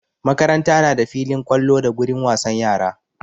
Makaranta na da filin ƙwallo da gurin wasan yara.